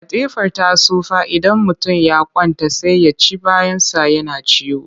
Katifar ta tsufa idan mutum ya kwanta sai ya ci bayansa yana ciwo